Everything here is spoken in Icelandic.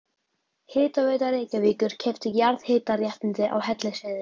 Hitaveita Reykjavíkur keypti jarðhitaréttindi á Hellisheiði.